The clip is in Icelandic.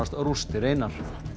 rústir einar